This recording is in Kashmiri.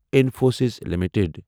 انِفوسِس لِمِٹٕڈ